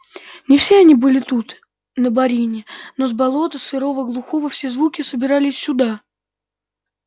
не все они были тут на борине но с болота сырого глухого все звуки собирались сюда